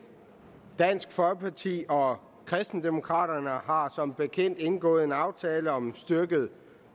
dansk folkeparti og kristendemokraterne har som bekendt indgået en aftale om styrket